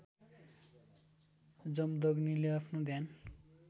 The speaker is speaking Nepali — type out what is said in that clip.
जमदग्नीले आफ्नो ध्यान